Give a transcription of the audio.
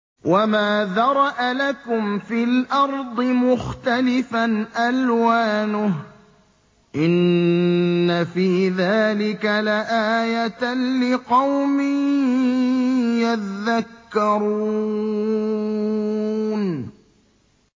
وَمَا ذَرَأَ لَكُمْ فِي الْأَرْضِ مُخْتَلِفًا أَلْوَانُهُ ۗ إِنَّ فِي ذَٰلِكَ لَآيَةً لِّقَوْمٍ يَذَّكَّرُونَ